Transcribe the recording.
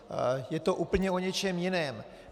Je to úplně o něčem jiném.